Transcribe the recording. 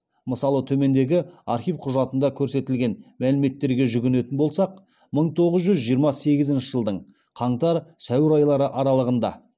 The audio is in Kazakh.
мысалы төмендегі архив құжатында көрсетілген мәліметтерге жүгінетін болсақ мың тоғыз жүз жиырма сегізінші жылдың қаңтар сәуір айлары аралығында